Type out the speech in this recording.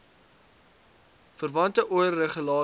verwante oir regulasies